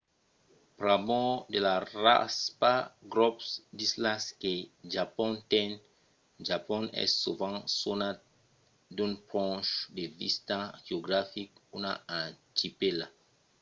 pr'amor de la raspa/grop d'islas que japon ten japon es sovent sonat d'un ponch de vista geographic una archipèla